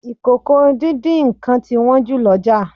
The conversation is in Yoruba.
Ìkòkò-díndín-nǹkan ti wón jù l'oja.